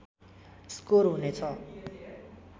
score हुनेछ